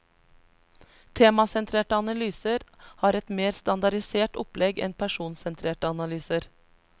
Temasentrerte analyser har et mer standardisert opplegg enn personsentrerte analyser.